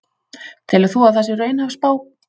Telur þú að það sé raunhæf spá?